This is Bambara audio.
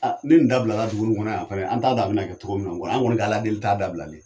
Ni nin dabilala dugu in kɔnɔ yan fana, an t'a dɔn a bi na kɛ togo min kɔnɔ, an kɔni ka Ala deli t'a dabilali ye